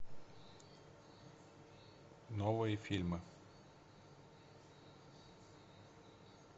новые фильмы